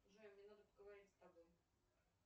джой мне надо поговорить с тобой